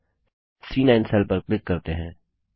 अब C nine cell पर click करते हैं